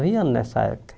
anos nessa época.